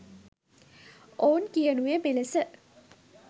ඔවුන් කියනුයේ මෙලෙස